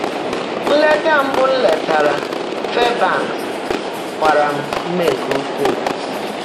Nlètá mbụ́ m leètàárá Fáịrbã́nks gbàrà m úmé nkè ụ́kwúú.